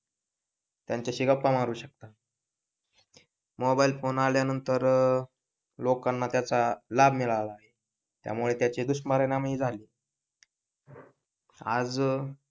त्यांच्याशी गप्पा मारू शकतात मोबाईल फोन आल्यानंतर लोकांना त्याचा लाभ मिळाला त्यामुळे त्याचे दुष्परिणाम ही झाले आज